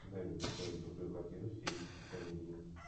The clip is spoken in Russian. дай мне посмотреть крутую картину в стилистике комедии